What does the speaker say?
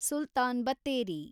Sultan Battery